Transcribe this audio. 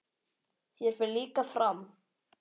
Þér fer líka fram.